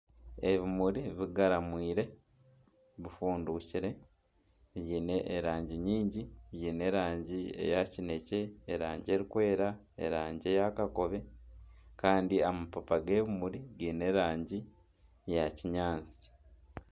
Ebimuri bigaramwaire bifundukire byine erangi nyingi, byine erangi eya kinekye erangi erikwera erangi eya kakobe kandi amabaabi g'ebimuri giine erangi ya kinyaatsi.